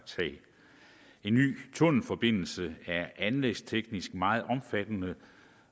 en ny tunnelforbindelse er anlægsteknisk meget omfattende